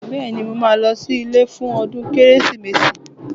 Bẹ́ẹ̀ni, mo máa lọ sí ilé fún ọdún Kérésìmesì